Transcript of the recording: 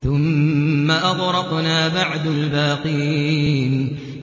ثُمَّ أَغْرَقْنَا بَعْدُ الْبَاقِينَ